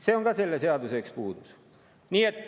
See on ka selle seaduse üks puudus.